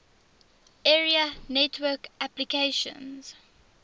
area network applications